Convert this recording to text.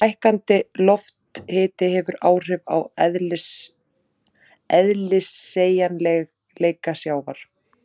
Hækkandi lofthiti hefur áhrif á eðliseiginleika sjávar.